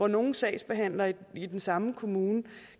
nogle sagsbehandlere i den samme kommune